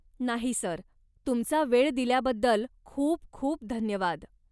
नाही सर, तुमचा वेळ दिल्याबद्दल खूप खूप धन्यवाद.